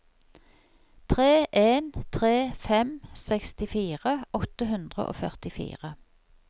tre en tre fem sekstifire åtte hundre og førtifire